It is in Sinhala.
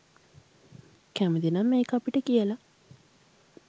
කැමතිනම් ඒක අපිට කියලා